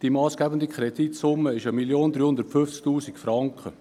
Die massgebende Kreditsumme beträgt 1 350 000 Franken.